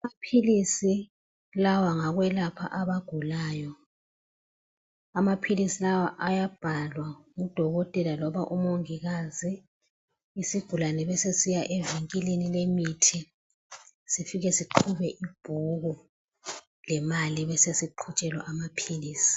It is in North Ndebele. Amaphilisi lawa ngawokwelapha abagulayo amapilisi lawa ayabhalwa ngudokotela loba umongikazi isigulane besesisiya emavinkilini lomuthi sifike siqhube ibhuku lemali besesiqhutshelwa amaphilisi.